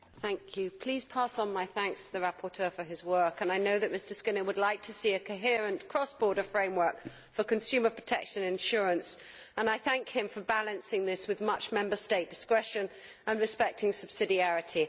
Madam President, please pass on my thanks to the rapporteur for his work. I know that Mr Skinner would like to see a coherent cross border framework for consumer protection insurance, and I thank him for balancing this with much Member State discretion and respecting subsidiarity.